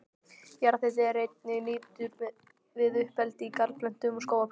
Jarðhiti er einnig nýttur við uppeldi á garðplöntum og skógarplöntum.